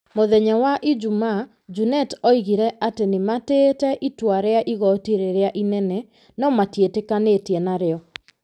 Mũthenya wa ijuma, Junet oigire atĩ nĩ matĩĩte itua rĩa igoti rĩrĩa inene, no matiĩtĩkanĩtie narĩo